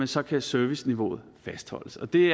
så kan serviceniveauet fastholdes og det